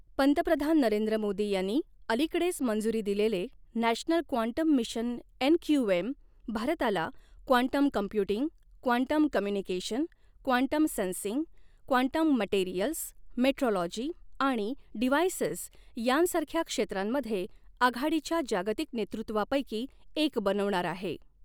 पंतप्रधान नरेंद्र मोदी यांनी अलीकडेच मंजुरी दिलेले नॅशनल क्वांटम मिशन एनक्यूएम भारताला quantum computing, quantum communication, quantum sensing, quantum materials, metrology आणि डिव्हायसेस यांसारख्या क्षेत्रांमध्ये आघाडीच्या जागतिक नेतृत्वापैकी एक बनवणार आहे.